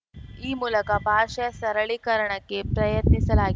ಈ ಮೂಲಕ ಭಾಷೆಯ ಸರಳೀಕರಣಕ್ಕೆ ಪ್ರಯತ್ನಿಸಲಾಗಿ